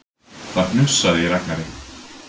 Það hnussaði í Ragnari.